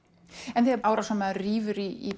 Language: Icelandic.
en þegar árásarmaður rífur í